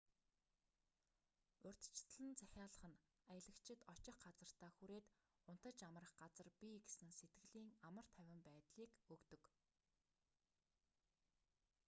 урьдчилан захиалах нь аялагчид очих газартаа хүрээд унтаж амрах газар бий гэсэн сэтгэлийн амар тайван байдлыг өгдөг